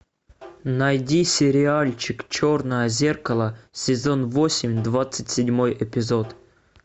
найди сериальчик черное зеркало сезон восемь двадцать седьмой эпизод